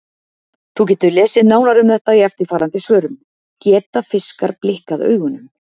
Þú getur lesið nánar um þetta í eftirfarandi svörum: Geta fiskar blikkað augunum?